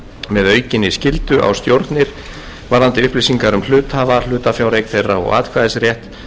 með aukinni skyldu á stjórnir varðandi upplýsingar um hluthafa hlutafjáreign þeirra og atkvæðisrétt